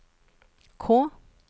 K